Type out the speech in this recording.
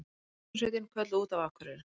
Björgunarsveitin kölluð út á Akureyri